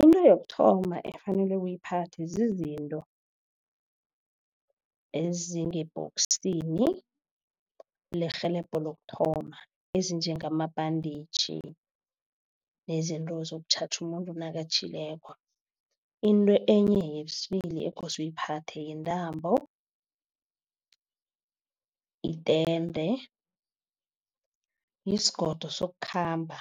Into yokuthoma ekufanele uyiphathe zizinto ezingebhoksini, lirhelebho lokuthoma ezinjengamabhaditjhi, nezinto sokutjhatjha umuntu nakatjhileko. Into enye yesibili ekose uyiphathe yintambo, itende, yisigodo sokukhamba,